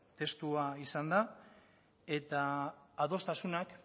testua izan da eta adostasunak